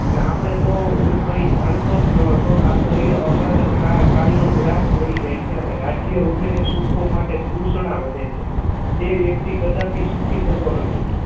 અને આપને તો હું કંઈ જાણતો જ નહોતો આ શરીર અબાલતાનો ગ્રાસ બની જાય છે અને રાજ્ય વગેરે સુખો માટે તૃષણા વધે છે તે વ્યક્તિ કદાપી સુખી થતો નથી